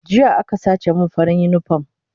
Jiya aka sace min farin unipom